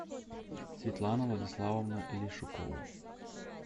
светлана владиславовна лешукова